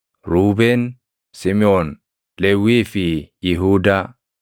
Ruubeen, Simiʼoon, Lewwii fi Yihuudaa;